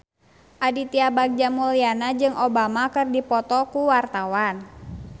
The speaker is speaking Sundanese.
Aditya Bagja Mulyana jeung Obama keur dipoto ku wartawan